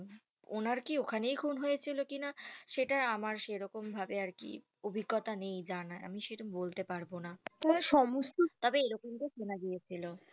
ওনার কি ওখানেই খুন হয়েছিল কিনা সেটা আমার সেরকম ভাবে আর কি অভিজ্ঞতা নেই জানার আমি সেটা বলতে পারবোনা তবে এরকমটা সোনা গিয়েছিলো